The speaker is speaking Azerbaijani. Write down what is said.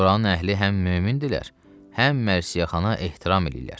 Oranın əhli həm mömindirlər, həm mərsiyəxana ehtiram eləyirlər.